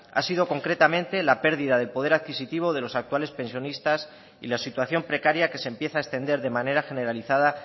ha sido concretamente la pérdida del poder adquisitivo de los actuales pensionistas y la situación precaria que se empieza a extender de manera generalizada